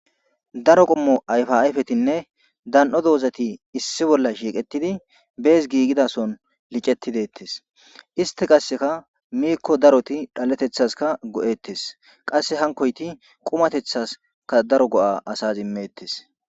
Daro qommo ayfa ayfettinne dan'o dozzatti issi bolla shiqqettidi bes gigida sohon licetti bettes.histti qasekka miiko darotti dhalettetaskka go'ettes. Qasa hankoytti qummattetaskka daro go'a asas immettes.